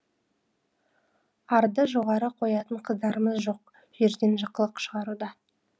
арды жоғары қоятын қыздарымыз жоқ жерден жықылық шығаруда